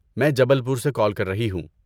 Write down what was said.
میں جبل پور سےکال کر رہی ہوں۔